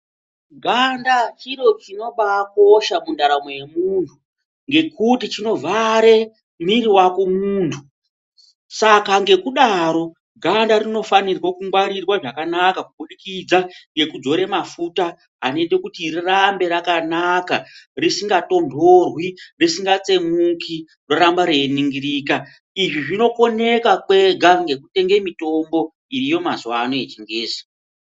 Ganda chiro chinobaakosha mundaramo yemuntu ngekuti chinovhare mwiri wako muntu. Saka ngekudaro ganda rinofanirwa kungwarirwa zvakanaka kubudikidza ngekudzora mafuta anoita kuti rirambe rakanaka risikatonhorwi risikatsemuki, roramba reiningirika. Izvi zvinokoneka kwega ngekutenga mitombo iriyo mazuwa ano yechingezi.